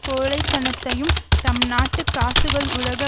கோழைத்தனத்தையும் தம்நாட்டு காசுகள் உலக